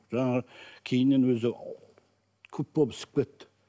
жаңағы кейіннен өзі күп болып ісіп кетті